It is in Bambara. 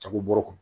Jagɛbɔ